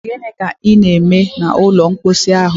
Gịnị ka ị na-eme n'ime ụlọ mposi ahụ?